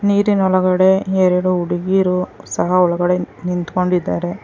ನೀರಿನ ಒಳಗಡೆ ಎರಡು ಹುಡುಗಿರು ಸಹ ಒಳಗಡೆ ನಿಂತ್ಕೊಂಡಿದ್ದಾರೆ.